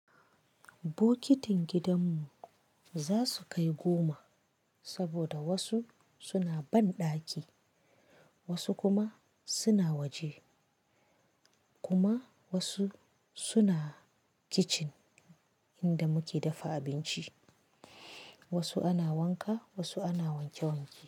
Bokitin gidan mu za su kai goma saboda wasu suna banɗaki, wasu kuma suna waje, kuma wasu suna kicin inda muke dafa abinci, wasu ana wanka, wasu ana wanke wanke.